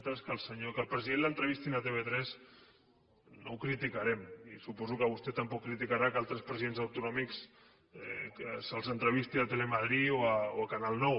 bé nosaltres que al president l’entrevistin a tv3 no ho criticarem i suposo que vostè tampoc criticarà que altres presidents autonòmics se’ls entrevisti a telemadrid o a canal nou